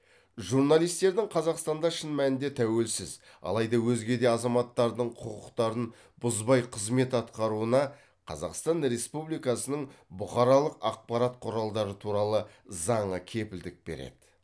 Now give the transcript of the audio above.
журналистердің қазақстанда шын мәнінде тәуелсіз алайда өзге де азаматтардың құқықтарын бұзбай қызмет атқаруына қазақстан республикасының бұқаралық ақпарат құралдары туралы заңы кепілдік береді